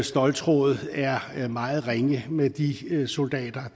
ståltråd er meget ringe med de soldater